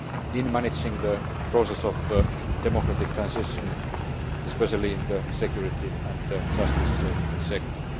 in managing the process of democratic transition, especially in the security and justice sector.